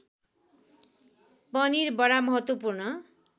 पनिर बडा महत्त्वपूर्ण